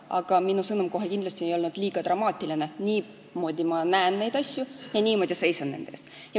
Aga minu sõnum kohe kindlasti ei olnud liiga dramaatiline, niimoodi näen ma neid asju ja niimoodi seisan nende eest.